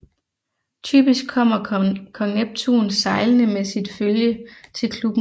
Typisk kommer Kong Neptun sejlende med sit følge til klubben